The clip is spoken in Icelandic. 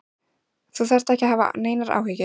Þú þarft ekki að hafa neinar áhyggjur.